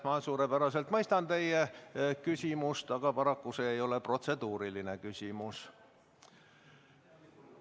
Ma suurepäraselt mõistan teie küsimust, aga paraku see ei ole protseduuriline küsimus.